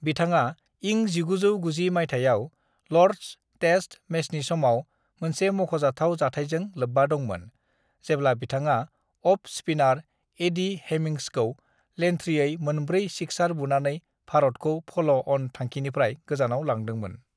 बिथाङा इं 1990 माइथायाव ल'र्ड्स टेस्ट मैचनि समाव मोनसे मख'जाथाव जाथायजों लोब्बा दंमोन; जेब्ला बिथाङा अफ-स्पिनार एडी हेमिंग्सखौ लेनथ्रियै मोनब्रै सिक्सार बुनानै भारतखौ फल'-अन थांखिनिफ्राय गोजौआव लांदोंमोन।